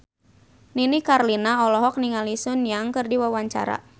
Nini Carlina olohok ningali Sun Yang keur diwawancara